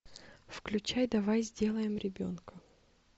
включай давай сделаем ребенка